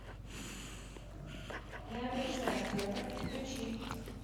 набережная орфевр включи